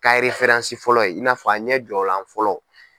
Ka fɔlɔ i na fɔ a ɲɛ jɔlan fɔlɔ.